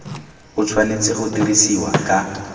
o tshwanetse go dirisiwa ka